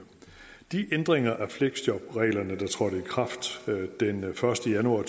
de ændringer af fleksjobreglerne der trådte i kraft den første januar